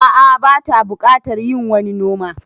A'a bata buƙatar yin wani noma